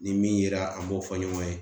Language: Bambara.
Ni min yera an b'o fɔ ɲɔgɔn ye